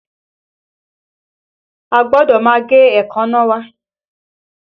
A gbọ́dọ̀ máa gé èékánná wa